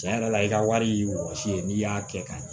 Cɛn yɛrɛ la i ka wari ye wɔsi ye n'i y'a kɛ ka ɲɛ